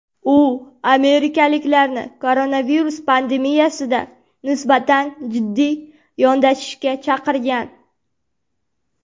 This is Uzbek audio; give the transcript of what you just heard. U amerikaliklarni koronavirus pandemiyasiga nisbatan jiddiy yondashishga chaqirgan.